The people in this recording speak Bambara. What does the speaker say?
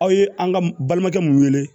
Aw ye an ka balimakɛ mun wele